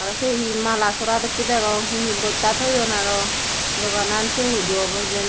aro se he mala sora dokki degong he he bosta thoyun aro doganan se hudu obo hijeni.